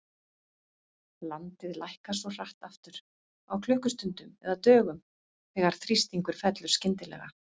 Landið lækkar svo hratt aftur, á klukkustundum eða dögum, þegar þrýstingur fellur skyndilega.